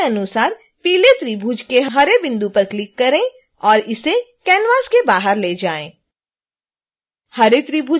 दिखाए गए अनुसार पीले त्रिभुज के हरे बिंदु पर क्लिक करें और इसे कैनवास के बाहर ले जाएं